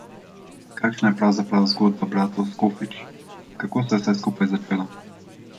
Kakšna je pravzaprav zgodba bratov Skofič, kako se je vse skupaj začelo?